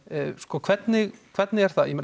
hvernig hvernig er það